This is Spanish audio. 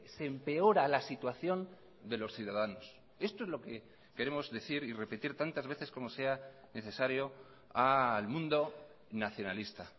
se empeora la situación de los ciudadanos esto es lo que queremos decir y repetir tantas veces como sea necesario al mundo nacionalista